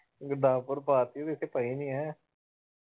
ਗੁਰਦਾਸਪੁਰ ਪਾ ਦਿੱਤੀ ਇੱਥੇ ਪਈ ਨੀ ਹੈ।